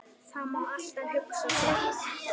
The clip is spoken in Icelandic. Það má alltaf hugsa svona.